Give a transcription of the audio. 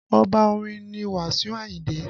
Oba orin ni Wasiu Ayinde